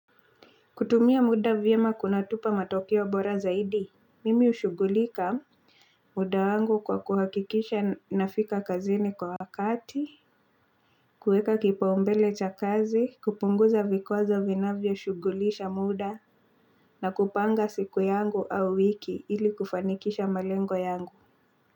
Kutumia muda vyema kunatupa matokeo bora zaidi, mimi hushugulika muda wangu kwa kuhakikisha nafika kazini kwa wakati, kueka kipa umbele cha kazi, kupunguza vikwazo vinavyo shugulisha muda na kupanga siku yangu au wiki ili kufanikisha malengo yangu.